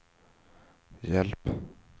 hjälp